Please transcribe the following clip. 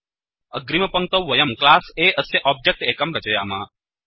अग्रिमपङ्क्तौ वयं class A अस्य object एकं रचयाम